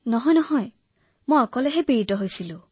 নহয় নহয় মহোদয় মোৰ অকলে হৈছিল